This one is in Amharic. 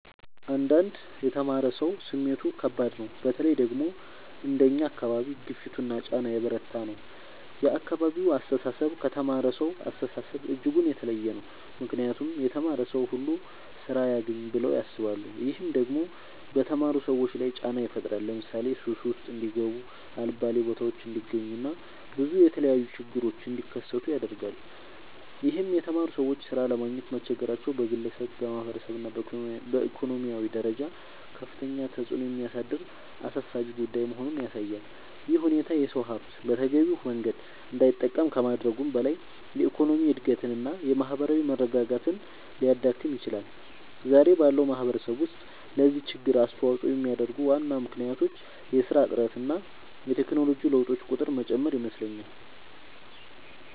አንዳንድ የተማረ ሰው ስሜቱ ከባድ ነው በተለይ ደግሞ አንደኛ አካባቢ ግፊቱና ጫና የበረታ ነው የአካባቢው አስተሳሰብ ከተማረሳው አስተሳሰብ እጅጉን የተለየ ነው ምክንያቱም የተማረ ሰው ሁሉ ስራ ያግኝ ብለው ያስባሉ። ይህም ደግሞ በተማሩ ሰዎች ላይ ጫና ይፈጥራል ለምሳሌ ሱስ ውስጥ እንዲጋቡ የአልባሌ ቦታዎች እንዲገኙ እና ብዙ የተለያዩ ችግሮች እንዲከሰቱ ያደርጋል ይህም የተማሩ ሰዎች ሥራ ለማግኘት መቸገራቸው በግለሰብ፣ በማህበረሰብ እና በኢኮኖሚ ደረጃ ከፍተኛ ተጽዕኖ የሚያሳድር አሳሳቢ ጉዳይ መሆኑን ያሳያል። ይህ ሁኔታ የሰው ሀብት በተገቢው መንገድ እንዳይጠቀም ከማድረጉም በላይ የኢኮኖሚ እድገትን እና የማህበራዊ መረጋጋትን ሊያዳክም ይችላል። ዛሬ ባለው ማህበረሰብ ውስጥ ለዚህ ችግር አስተዋጽኦ የሚያደርጉ ዋና ምክንያቶች የስራ እጥረት እና የቴክኖሎጂ ለውጦች ቁጥር መጨመር ይመስለኛል